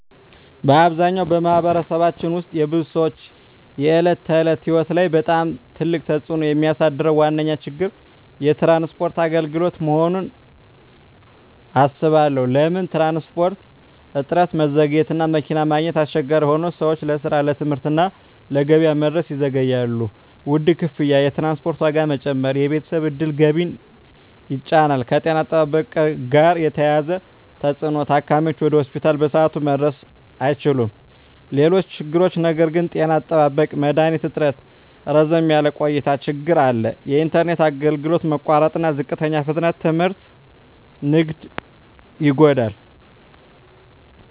በአብዛኛው በማኅበረሰባችን ውስጥ የብዙ ሰዎች የዕለት ተዕለት ሕይወት ላይ በጣም ትልቅ ተፅዕኖ የሚያሳድረው ዋነኛ ችግር የትራንስፖርት አገልግሎት መሆኑን እባላለሁ። ለምን ትራንስፖርት? እጥረትና መዘግየት መኪና ማግኘት አስቸጋሪ ሆኖ ሰዎች ለስራ፣ ለትምህርት እና ለገበያ መድረስ ይዘገያሉ። ውድ ክፍያ የትራንስፖርት ዋጋ መጨመር የቤተሰብ ዕድል ገቢን ይጫን። ከጤና አጠባበቅ ጋር የተያያዘ ተፅዕኖ ታካሚዎች ወደ ሆስፒታል በሰዓቱ መድረስ አይችሉም። ሌሎች ችግሮች ነገር ግን… ጤና አጠባበቅ መድሀኒት እጥረትና ረዘም ያለ ቆይታ ችግር አለ። የኢንተርኔት አገልግሎት መቋረጥና ዝቅተኛ ፍጥነት ትምህርትና ንግድን ይጎዳል።